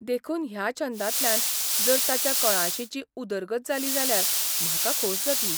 देखून ह्या छंदांतल्यान जर ताच्या कळाशींची उदरगत जाली जाल्यार म्हाका खोस जातली.